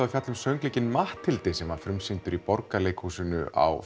að fjalla um söngleikinn Matthildi sem frumsýndur var í Borgarleikhúsinu á